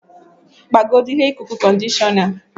Gbagodu ihe ikuku-conditioner.